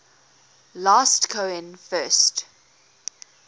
last cohen first